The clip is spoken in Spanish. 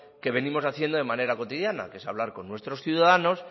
que venimos haciendo de manera cotidiana que es hablar con nuestros ciudadanos